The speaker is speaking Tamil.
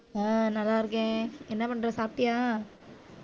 ஆஹ் நல்லா இருக்கேன் என்ன பண்ற சாப்பிட்டியா